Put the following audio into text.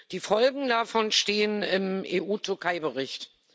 Die Folgen davon stehen im EU-Türkei-Bericht.